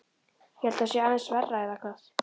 Ég held að það sé aðeins verra, eða hvað?